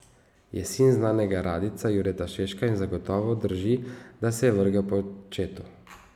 Je sin znanega radijca Jureta Seška in zagotovo drži, da se je vrgel po očetu.